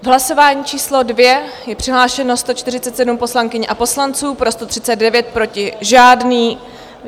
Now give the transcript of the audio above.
V hlasování číslo 2 je přihlášeno 147 poslankyň a poslanců, pro 139, proti žádný.